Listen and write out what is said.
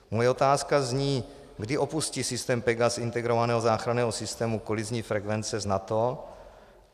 Moje otázka zní: Kdy opustí systém PEGAS integrovaného záchranného systému kolizní frekvence s NATO?